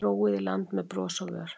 Róið í land með bros á vör.